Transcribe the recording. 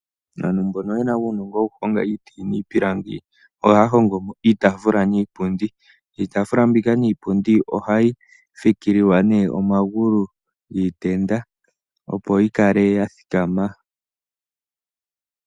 Aantu mbono ye na uunongo wokuhonga iiti niipilangi ohaya hongo iitaafula niipundi. Iitaafula niipundi mbika ohayi fikililwa omagulu giitenda opo yi kale ya thikama.